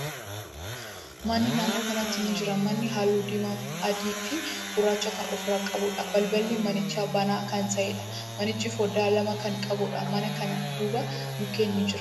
Manni naannoo kanatti ni jira. Manichi haalluu diimaa, adii fi gurraacha kan ofirraa qabuudha. Balballi manichaa banaa kan ta'eedha. Manichi foddaa lama kan qabuudha. Mana kana duuba mukkeen ni jiru.